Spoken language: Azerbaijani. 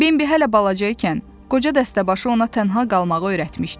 Bembi hələ balaca ikən, qoca dəstəbaşı ona tənha qalmağı öyrətmişdi.